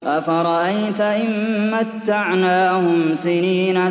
أَفَرَأَيْتَ إِن مَّتَّعْنَاهُمْ سِنِينَ